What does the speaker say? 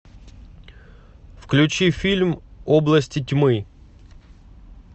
включи фильм области тьмы